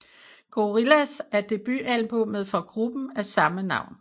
Gorillaz er debutalbummet fra gruppen af samme navn